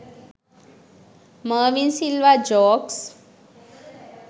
mervin silva jokes